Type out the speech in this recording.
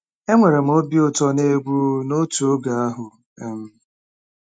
Enwere m obi ụtọ na egwu n'otu oge ahụ. um